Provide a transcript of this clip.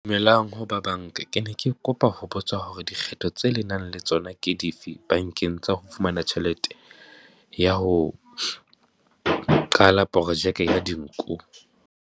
Dumelang ho ba banka, ke ne ke kopa ho botsa hore dikgetho tse le nang le tsona ke di fe bankeng tsa ho fumana tjhelete ya ho qala projeke ya dinku.